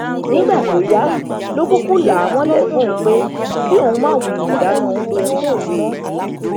nígbà tó yá ló kúkú là á mọlẹ fóun pé kí òun máa wulẹ dáná oúnjẹ fóun mọ